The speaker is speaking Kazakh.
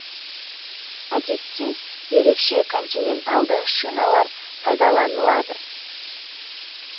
әдетте ерекше континенталды шиналар пайдаланылады